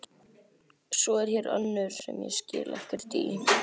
Svo er hér önnur sem ég skil ekkert í.